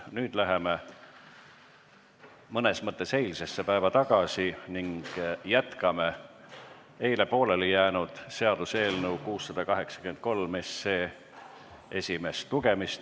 Nüüd läheme mõnes mõttes eilsesse päeva tagasi ning jätkame eile pooleli jäänud seaduseelnõu 683 esimest lugemist.